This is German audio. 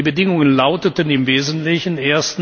Die Bedingungen lauteten im Wesentlichen